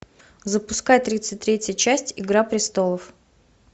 запускай тридцать третья часть игра престолов